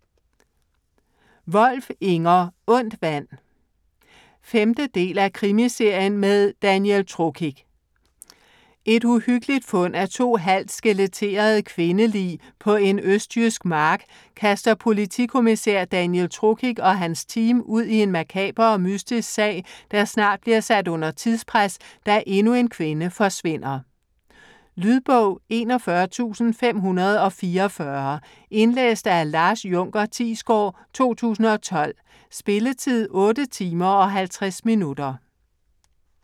Wolf, Inger: Ondt vand 5. del af krimiserien med Daniel Trokic. Et uhyggeligt fund af to halvt skeletterede kvindelig på en østjysk mark kaster politikommissær Daniel Trokic og hans team ud i en makaber og mystisk sag, der snart bliver sat under tidspres, da endnu en kvinde forsvinder. Lydbog 41544 Indlæst af Lars Junker Thiesgaard, 2012. Spilletid: 8 timer, 50 minutter.